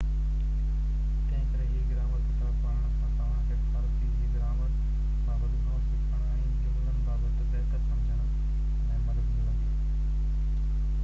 تنهنڪري هي گرامر ڪتاب پڙهڻ سان توهان کي فارسي جي گرامر بابت گهڻو سکڻ ۽ جملن بابت بهتر سمجهڻ ۾ مدد ملندي